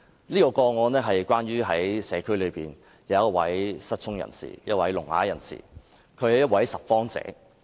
這宗個案的主角是社區內一位聾啞人士，他是一位拾荒者。